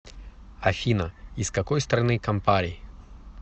афина из какой страны кампари